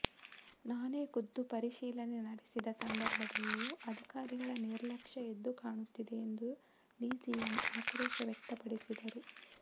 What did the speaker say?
ನಾನೇ ಖುದ್ದು ಪರಿಶೀಲನೆ ನಡೆಸಿದ ಸಂದರ್ಭದಲ್ಲೂ ಅಧಿಕಾರಿಗಳ ನಿರ್ಲಕ್ಷ್ಯ ಎದ್ದು ಕಾಣುತ್ತಿದೆ ಎಂದು ಡಿಸಿಎಂ ಆಕ್ರೋಶ ವ್ಯಕ್ತಪಡಿಸಿದರು